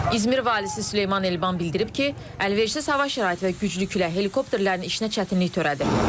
İzmir valisi Süleyman Elban bildirib ki, əlverişsiz hava şəraiti və güclü külək helikopterlərin işinə çətinlik törədir.